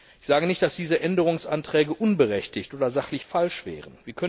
Ich sage nicht, dass diese Änderungsanträge unberechtigt oder sachlich falsch wären.